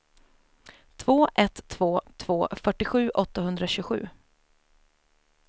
två ett två två fyrtiosju åttahundratjugosju